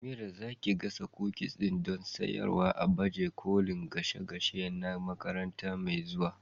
Amira, za ki gasa kukis din don sayarwa a baje kolin gashe gashe na makaranta mai zuwa?